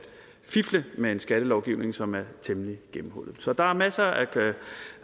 fifle med en skattelovgivning som er temmelig gennemhullet så der er masser at